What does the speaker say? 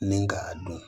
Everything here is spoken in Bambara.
Ni k'a dun